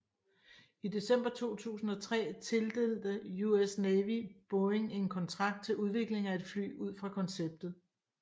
I december 2003 tildelte US Navy Boeing en kontrakt til udvikling af et fly ud fra konceptet